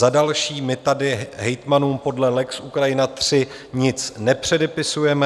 Za další, my tady hejtmanům podle lex Ukrajina III nic nepředepisujeme.